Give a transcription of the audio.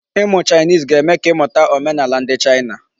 Ịmụ Chinese ga-eme ka ị mụta omenaala ndị China.